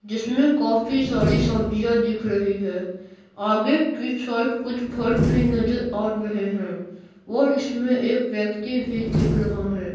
जिसमें काफी सारी सब्जियां दिख रही है आगे की साइड कुछ फल भी नजर आ रहे हैं और इसमें एक व्यक्ति भी दिख रहा है।